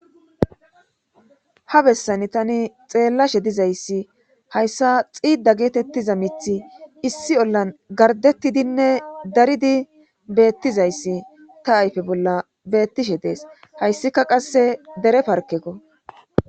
Ha bessan tani xeellashe dizayssi hayssa xiida geetettiza mithi issi ollan gardettidinne daridi beettizayssi ta ayfe bolla beettishe dees hayssika qasse dere parkekko